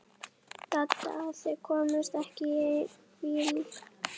Dadda að þau komust ekki í einn bíl.